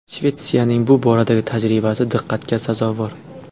Shvetsiyaning bu boradagi tajribasi diqqatga sazovor.